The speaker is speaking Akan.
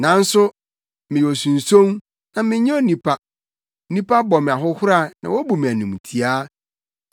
Nanso meyɛ osunson, na menyɛ onipa nnipa bɔ me ahohora na wobu me animtiaa.